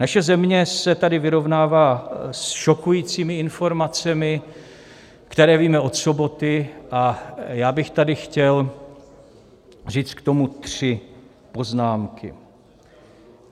Naše země se tady vyrovnává s šokujícími informacemi, které víme od soboty, a já bych tady chtěl říct k tomu tři poznámky.